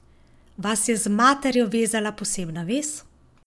Vas je z materjo vezala posebna vez?